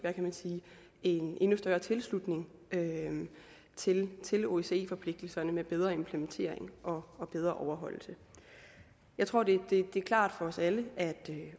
en endnu større tilslutning til osce forpligtelserne med bedre implementering og bedre overholdelse jeg tror det er klart for os alle at